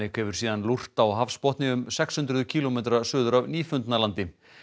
hefur síðan lúrt á hafsbotni um sex hundruð kílómetra suður af Nýfundnalandi